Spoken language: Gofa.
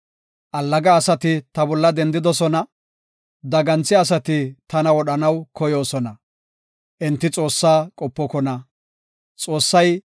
Allaga asati ta bolla dendidosona; daganthiya asati tana wodhanaw koyoosona; enti Xoossaa qopokona. Salaha